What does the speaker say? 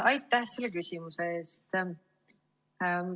Aitäh selle küsimuse eest!